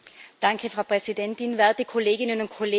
Frau Präsidentin, werte Kolleginnen und Kollegen!